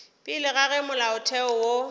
pele ga ge molaotheo wo